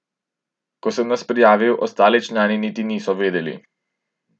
Ko sem nas prijavil, ostali člani niti niso vedeli.